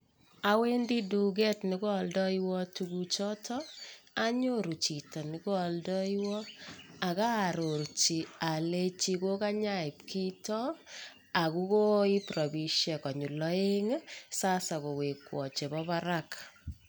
Awendi duket nekoaldoiwo tuguchotok, anyoru chito ne koaldaiywa ak aarorji alenji kokanyoiib kito ako koiib rabisiek konyil aeng',sasa kowekwo chebo barak.